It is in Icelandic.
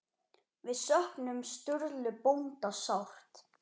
Við söknum Sturlu bónda sárt.